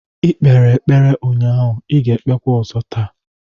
Ị kpere ekpere ụnyaahụ, I ga-ekpekwa ọzọ taa!